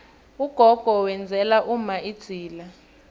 ugogo wenzela umma idzila